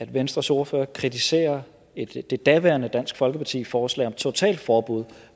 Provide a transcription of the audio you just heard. venstres ordfører kritiserer det daværende dansk folkeparti forslag om totalforbud